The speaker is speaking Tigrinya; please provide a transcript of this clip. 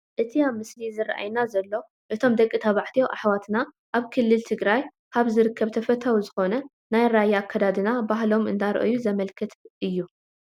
እቲ ኣብቲ ምስሊ ዝራኣየና ዘሎ እቶም ደቂ ተባዕትዮ ኣሕዋትና ኣብ ክልል ትግራይ ካብ ዝርከብ ተፈታዊ ዝኾነ ናይ ራያ ኣከዳድና ባህሎም እንዳርአዩ ዘመላኽት እዩ፡፡